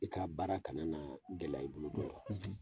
I ka baara kana na gɛlɛya i bolo dɔrɔn.